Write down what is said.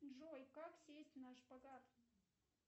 джой как сесть на шпагат